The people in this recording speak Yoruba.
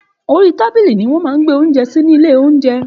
Òrí tábílí ní wõn má gbé ounjé sí ni ìlé ounjé